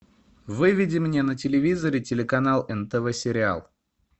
выведи мне на телевизоре телеканал нтв сериал